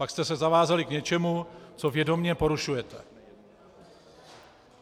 Pak jste se zavázali k něčemu, co vědomě porušujete.